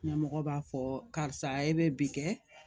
Ɲɛmɔgɔ b'a fɔ karisa e bɛ bi kɛ